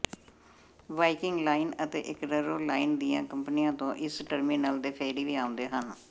Viking line ਅਤੇ Eckero line ਦੀਆਂ ਕੰਪਨੀਆਂ ਤੋਂ ਇਸ ਟਰਮੀਨਲ ਦੇ ਫੈਰੀ ਵੀ ਆਉਂਦੇ ਹਨ